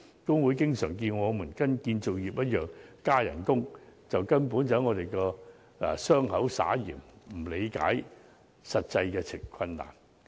工會經常要求我們與建造業一樣加薪，這根本是在我們的傷口撒鹽，並不理解實際的困難。